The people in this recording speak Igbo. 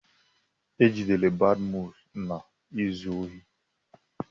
E jidere Badmus na-ezu ohi.